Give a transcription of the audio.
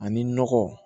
Ani nɔgɔ